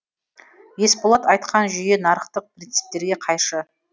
есболат айтқан жүйе нарықтық принциптерге қайшы